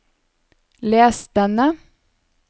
les denne